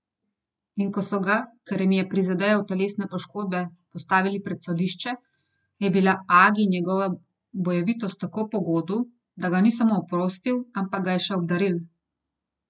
In ko so ga, ker jim je prizadejal telesne poškodbe, postavili pred sodišče, je bila agi njegova bojevitost tako pogodu, da ga ni samo oprostil, ampak ga je še obdaril.